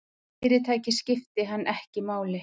Fyrirtækið skipti hann ekki máli.